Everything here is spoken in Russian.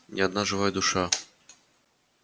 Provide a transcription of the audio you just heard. ни одна живая душа